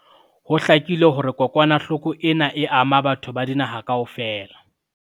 Ho hlakile hore kokwanahloko ena e ama batho ba dinaha kaofela.